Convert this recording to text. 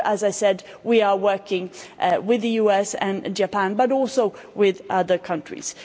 And here, as I said, we are working with the US and Japan, but also with other countries.